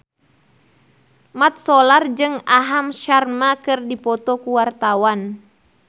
Mat Solar jeung Aham Sharma keur dipoto ku wartawan